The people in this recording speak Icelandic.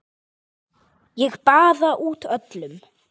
Ég baða út öll